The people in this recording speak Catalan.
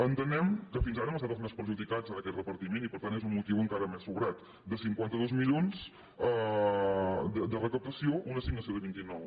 entenem que fins ara hem estat els més perjudicats en aquest repartiment i per tant és un motiu enca·ra més justificat de cinquanta dos milions de recaptació una as·signació de vint nou